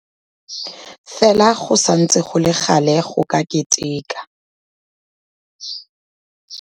Fela go santse go le gale go ka keteka.